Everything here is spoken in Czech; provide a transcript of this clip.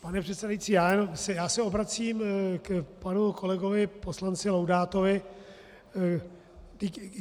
Pane předsedající, já se obracím k panu kolegovi poslanci Laudátovi.